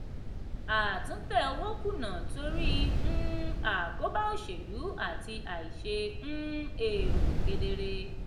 àtúntẹ̀ owó kùnà torí um àkóbá òṣèlú àti àìṣe um èrò kedere.